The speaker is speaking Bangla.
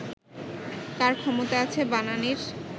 কার ক্ষমতা আছে বানানির